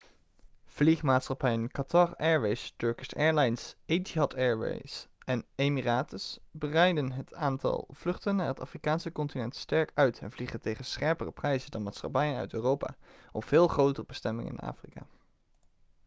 vliegmaatschappijen qatar airways turkish airlines etihad airways en emirates breiden het aantal vluchten naar het afrikaanse continent sterk uit en vliegen tegen scherpere prijzen dan maatschappijen uit europa op veel grote bestemmingen in afrika